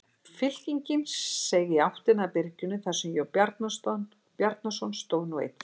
Fylkingin seig í áttina að byrginu þar sem Jón Bjarnason stóð nú einn fyrir.